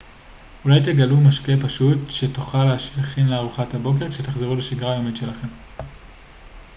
אולי תגלו משקה פשוט שתוכלו להכין לארוחת הבוקר כשתחזרו לשגרה היומית שלכם